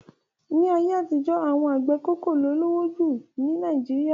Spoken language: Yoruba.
Láyé àtijọ́, awọn àgbẹ̀ koko ló lówó jù lọ ní Nàìjíríà.